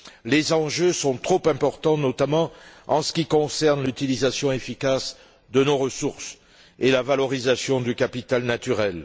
Les enjeux sont trop importants, notamment en ce qui concerne l'utilisation efficace de nos ressources et la valorisation du capital naturel.